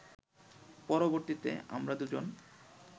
পরবর্তীতে আমরা দু’জন